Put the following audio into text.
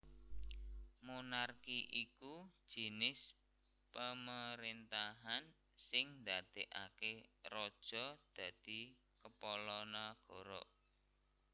Monarki iku jinis pemeréntahan sing ndadèkaké Raja dadi Kepala Nagara